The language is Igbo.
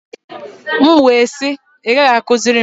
M wee sị, ị gaghị akụziri m!